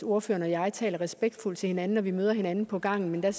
ordføreren og jeg taler respektfuldt til hinanden når vi møder hinanden på gangen men der